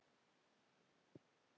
Þvílík upphefð og traust.